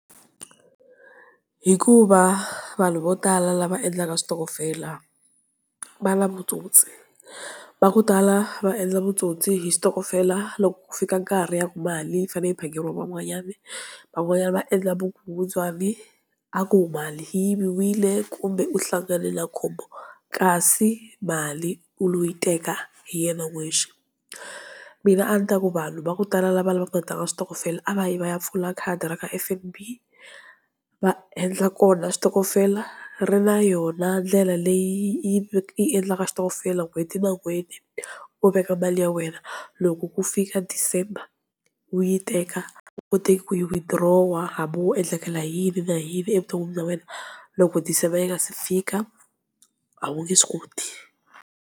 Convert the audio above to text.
Hikuva vanhu vo tala lava endlaka switokofela va na vutsotsi. Va ku tala va endla vutsotsi hi switokofela loko ku fika nkarhi wa ku mali yi fane yi phakeriwa van'wanyana. Van'wanyana va endla vukungundwani a ku mali yi yiviwile kumbe u hlangane na khombo, kasi mali u lo yi teka hi yena n'wexe, mina a ni ta ku vanhu va ku tala lava lavaku ku ya tlanga switokofela a va yi va ya pfula khadi ra ka F_N_B va endla kona switokofela, ri na yona ndlela leyi yi endlaka xitokofela n'hweti na n'hweti u veka mali ya wena, loko ku fika December u yi teka, u kotaka ku yi withdraw hambi wo endlekela hi yini na yini evuton'wini bya wena loko December yi nga se fika a wu nge swi koti.